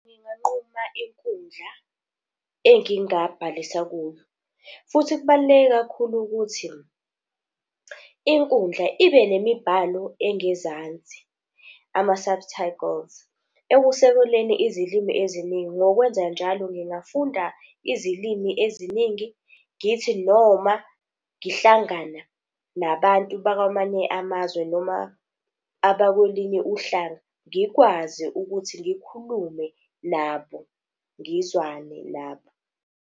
Nginganquma inkundla engingabhalisa kuyo. Futhi kubaluleke kakhulu ukuthi, inkundla ibe nemibhalo engezansi, ama-subtitles. Ekusekweleni izilimi eziningi, ngokwenzanjalo ngingafunda izilimi eziningi, ngithi noma ngihlangana nabantu bakwamanye amazwe, noma abakwelinye uhlanga, ngikwazi ukuthi ngikhulume nabo, ngizwane nabo.